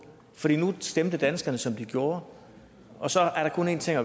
for nu stemte danskerne som de gjorde og så er der kun en ting at